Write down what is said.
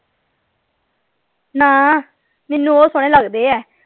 ਨਾ ਮੈਨੂੰ ਉਹ ਸੋਹਣੇ ਲਗਦੇ ਆ।